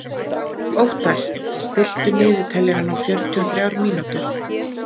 Óttar, stilltu niðurteljara á fjörutíu og þrjár mínútur.